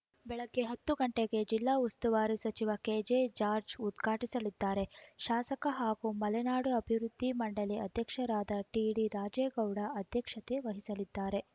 ಬೆಳಗ್ಗೆ ಹತ್ತು ಗಂಟೆಗೆ ಜಿಲ್ಲಾ ಉಸ್ತುವಾರಿ ಸಚಿವ ಕೆಜೆ ಜಾರ್ಜ ಉದ್ಘಾಟಿಸಲಿದ್ದಾರೆ ಶಾಸಕ ಹಾಗೂ ಮಲೆನಾಡು ಅಭಿವೃದ್ಧಿ ಮಂಡಳಿ ಅಧ್ಯಕ್ಷರಾದ ಟಿಡಿ ರಾಜೇಗೌಡ ಅಧ್ಯಕ್ಷತೆ ವಹಿಸಲಿದ್ದಾರೆ